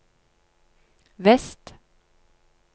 vest